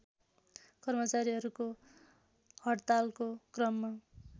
कर्मचारीहरूको हडतालको क्रममा